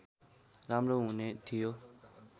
राम्रो हुने थियो